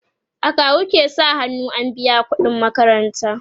akawu ke sa hannu an biya ƙuɗin makaranta